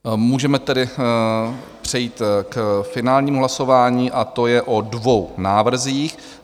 Můžeme tedy přejít k finálnímu hlasování, a to je o dvou návrzích.